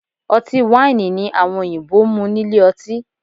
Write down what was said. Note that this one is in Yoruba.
Ọtí wáìnì ni àwọn òyìnbó ń mú nílé ọtí